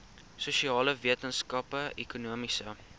sosiale wetenskappe ekonomiese